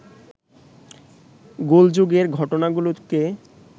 গোলযোগের ঘটনাগুলোকে